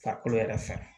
Farikolo yɛrɛ faga